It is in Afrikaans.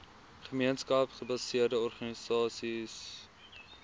gemeenskapsgebaseerde organisasies ggos